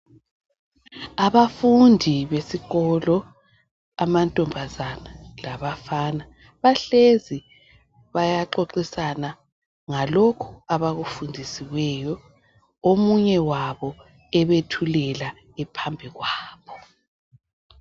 Abafundi besikolo, amantombazana labafana bahlezi bayaxoxisana ngalokho abakufundisiweyo omunye wabo ebethulela ephambi kwabo.